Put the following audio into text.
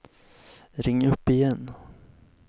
ring upp igen